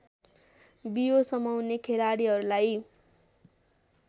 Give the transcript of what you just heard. बियो समाउने खेलाडीहरूलाई